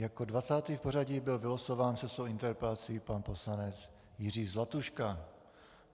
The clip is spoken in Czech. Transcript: Jako 20. v pořadí byl vylosován se svou interpelací pan poslanec Jiří Zlatuška.